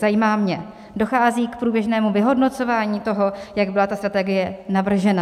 Zajímá mě: Dochází k průběžnému vyhodnocování toho, jak byla ta strategie navržena?